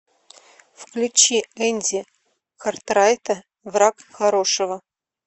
включи энди картрайта враг хорошего